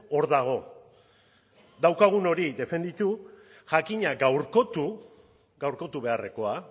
hor dago daukagun hori defendatu jakina gaurkotu gaurkotu beharrekoa